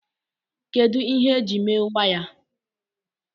kedu ihe eji mee waya